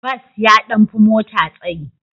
Bas ya ɗan fi mota tsayi.